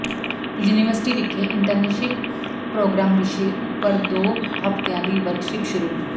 university ਵਿਖੇ internship program ਵਿਸ਼ੇ ਉਪਰ ਦੋ ਹਫਤਿਆਂ ਦੀ ਵਰਕਸ਼ਾਪ ਸ਼ੁਰੂ